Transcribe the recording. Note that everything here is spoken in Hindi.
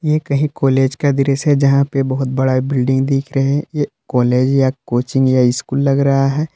ये कहीं कॉलेज का दृश्य है यहां पे बहुत बड़ा बिल्डिंग दिख रहा है ये कॉलेज या कोचिंग या स्कूल लग रहा है।